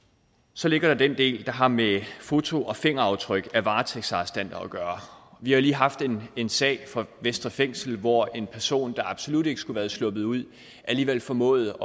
så ligger der den del der har med foto og fingeraftryk af varetægtsarrestanter at gøre vi har lige haft en en sag fra vestre fængsel hvor en person der absolut ikke skulle være sluppet ud alligevel formåede